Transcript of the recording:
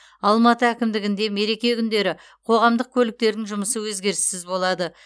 алматы әкімдігінде мереке күндері қоғамдық көліктердің жұмысы өзгеріссіз болады